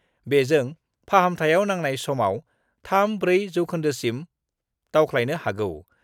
बेजों फाहामथायाव नांनाय समाव 3-4 जौखोन्दोसिम दावख्लायनो हागौ।